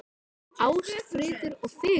Ást, friður og fegurð.